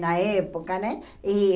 Na época, né? E